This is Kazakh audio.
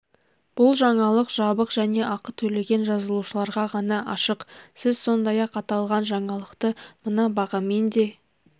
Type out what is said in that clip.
бұл жаңалық жабық және ақы төлеген жазылушыларға ғана ашық сіз сондай-ақ аталған жаңалықты мына бағамен де